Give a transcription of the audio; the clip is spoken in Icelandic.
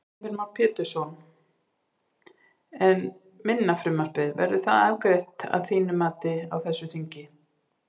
Heimir Már Pétursson: En minna frumvarpið, verður það afgreitt að þínu mati á þessu þingi?